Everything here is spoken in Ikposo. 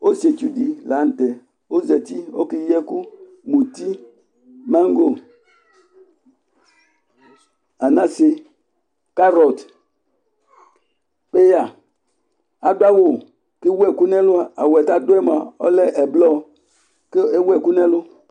Osié tsu di la tɛ ɔzɛti ɔké yi ɛku muti mango anasé karɔth péya adu awu ké éwu ɛku nɛ lu awuɛ ka du moa ɔlɛ ɛblɔ ku éwu ɛku nɛ ɛlu